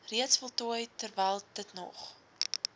reeds voltooi terwylditnog